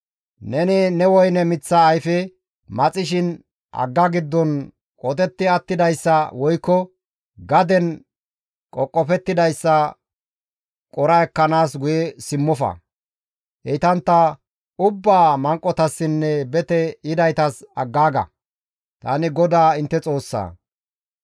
Neni ne woyne miththa ayfe maxishin hagga giddon qotetti attidayssa woykko gaden qoqofettidayssa qora ekkanaas guye simmofa; heytantta ubbaa manqotassinne bete yidaytas aggaaga; tani GODAA intte Xoossaa.